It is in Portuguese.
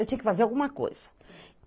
Eu tinha que fazer alguma coisa.